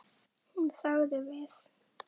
Hún þagði við.